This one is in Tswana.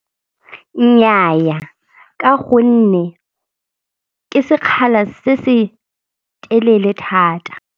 Nnyaa ka gonne ke sekgala se se telele thata.